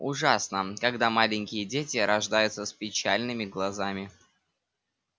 ужасно когда маленькие дети рождаются с печальными глазами